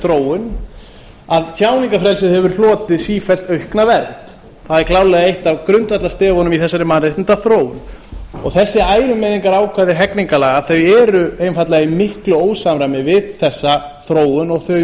þróun að tjáningarfrelsið hefur hlotið sífellt aukna vernd það er klárlega eitt af grundvallarstefunum í þessari mannréttindaþróun þessi ærumeiðingarákvæði hegningarlaga eru einfaldlega í miklu ósamræmi við þessa þróun og þau nútíma viðhorf